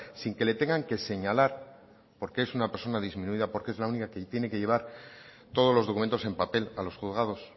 sin que le tengan que señalar porque es una persona disminuida porque es la única que tiene que llevar todos los documentos en papel a los juzgados